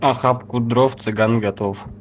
охапку дров цыган готов